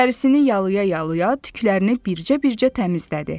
Dərisini yalaya-yalaya tüklərini bircə-bircə təmizlədi.